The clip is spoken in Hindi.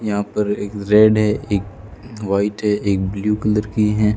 यहां पर एक रेड है एक वाइट है एक ब्लू कलर की हैं।